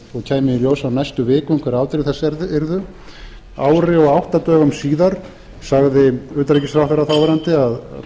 og kæmi í ljós á næstu vikum hver afdrif þess yrðu ári og átta dögum síðar sagði þáv utanríkisráðherra að